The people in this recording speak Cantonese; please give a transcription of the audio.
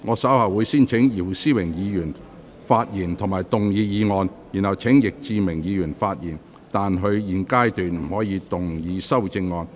稍後我會先請姚思榮議員發言及動議議案，然後請易志明議員發言，但他在現階段不可動議修正案。